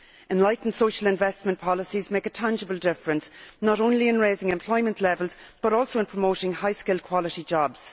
Enlightened social investment policies make a tangible difference not only in raising employment levels but also in promoting high skilled quality jobs.